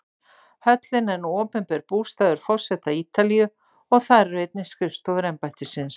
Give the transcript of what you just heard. Höllin er nú opinber bústaður forseta Ítalíu og þar eru einnig skrifstofur embættisins.